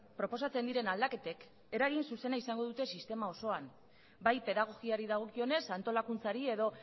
proposatzen diren aldaketek eragin zuzena izango dute sistema osoan bai pedagogiari dagokionez antolakuntzari edo